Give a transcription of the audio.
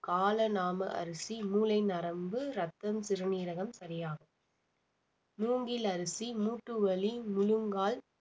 கால நாம அரிசி மூலை நரம்பு ரத்தம் சிறுநீரகம் சரியாகும் மூங்கில் அரிசி மூட்டு வலி முழங்கால்